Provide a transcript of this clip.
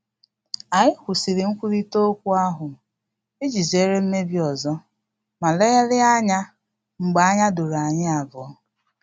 Anyị kwụsịrị nkwurịta okwu ahụ iji zere mmebi ọzọ ma legharịa ya anya mgbe anya doro anyi abuo